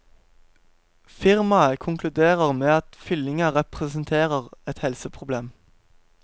Firmaet konkluderer med at fyllinga representerer et helseproblem.